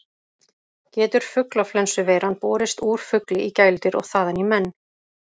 Getur fuglaflensuveiran borist úr fugli í gæludýr og þaðan í menn?